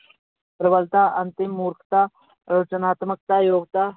ਪ੍ਰਬਲਤਾ ਅੰਤਿਮ ਮੂਰਖਤਾ ਰਚਨਾਤਮਕਤਾ ਯੋਗਤਾ,